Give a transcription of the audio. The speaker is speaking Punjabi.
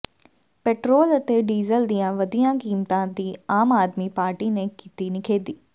ਪੈਟਰੋਲ ਅਤੇ ਡੀਜਲ ਦੀਆਂ ਵਧੀਆਂ ਕੀਮਤਾਂ ਦੀ ਆਮ ਆਦਮੀ ਪਾਰਟੀ ਨੇ ਕੀਤੀ ਨਿਖੇਧੀ